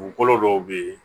Dugukolo dɔw be yen